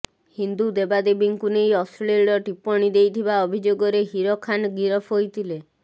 ହିନ୍ଦୁ ଦେବାଦେବୀଙ୍କୁ ନେଇ ଅଶ୍ଳୀଳ ଟିପ୍ପଣୀ ଦେଇଥିବା ଅଭିଯୋଗରେ ହିର ଖାନ୍ ଗିରଫ ହୋଇଥିଲେ